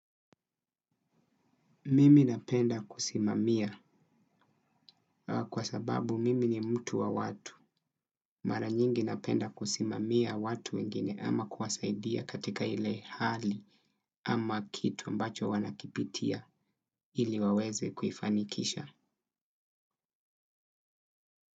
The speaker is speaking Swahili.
Mimi napenda kusimamia kwa sababu mimi ni mtu wa watu. Mara nyingi napenda kusimamia watu wengine ama kuwasaidia katika ile hali ama kitu ambacho wanakipitia ili waweze kuifanikisha.